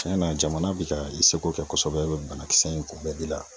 Cuɲɛna jamana bi ka i seko kɛ kosɛbɛ banakisɛ in kunbɛli la